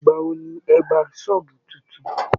Ìgbà wo ni ẹ gba ṣọ́ọ̀bù tuntun?